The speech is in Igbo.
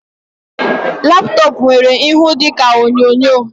Laptop nwere ịhụ dịka onyonyo